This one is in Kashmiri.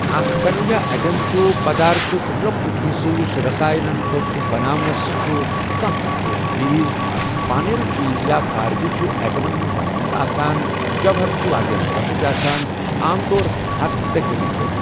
اَکھ کنہٕ یا اؠٹَم چھُ پَدارتُک لۄکُٹ حِصہٕ یُس رساێن تۄتھ بَناوان چھُ کانٛہہ تہِ ٹھوس چیٖز، پٲنیُل چیٖز یا فارغہ چھُ اؠٹمَن ہُنٛد بَنیومُت آسان جوہر چھِ واریاہ لۄکٕٹؠ آسان، عام طور ہتھَ پیٖکو میٖٹَر